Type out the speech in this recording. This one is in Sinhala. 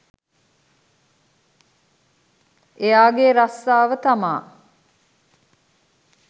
එයා ගේ රස්සාව තමා